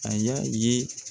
A y'a ye.